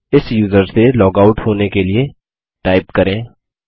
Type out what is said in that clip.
इस यूज़र से log out होने के लिए टाइप करें